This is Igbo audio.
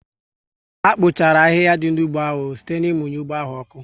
Ha kpochara ahịhịa dị n'ugbo áhù site ná ịmunye ụgbọ áhù oku